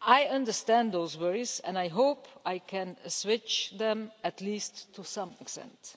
I understand those worries and I hope I can assuage them at least to some extent.